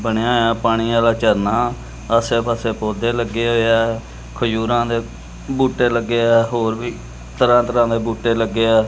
ਬਣੇਯਾ ਹੋਇਆ ਪਾਣੀ ਆਲ਼ਾ ਝਰਨਾ ਆਸੇ ਪਾੱਸੇ ਪੌਧੇ ਲੱਗੇ ਹੋਏ ਹੈ ਖਜੂਰਾਂ ਦੇ ਬੂਟੇ ਲੱਗੇ ਹੈਂ ਹੋਰ ਵੀ ਤਰਹਾਂ ਤਰਹਾਂ ਦੇ ਬੂਟੇ ਲੱਗੇ ਹੈ।